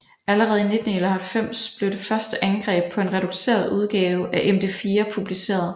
Allerede i 1991 blev det første angreb på en reduceret udgave af MD4 publiceret